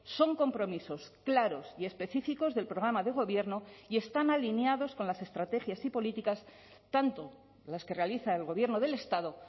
son compromisos claros y específicos del programa de gobierno y están alineados con las estrategias y políticas tanto las que realiza el gobierno del estado